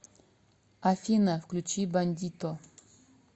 афина включи бандито